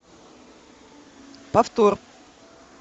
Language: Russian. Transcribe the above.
повтор